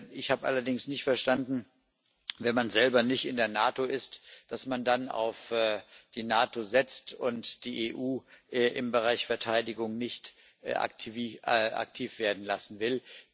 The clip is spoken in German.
Ich habe allerdings nicht verstanden, wenn man selber nicht in der NATO ist, dass man dann auf die NATO setzt und nicht die EU im Bereich Verteidigung aktiv werden lassen will.